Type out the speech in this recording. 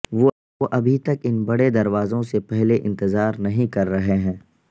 وہ ابھی تک ان بڑے دروازوں سے پہلے انتظار نہیں کر رہے ہیں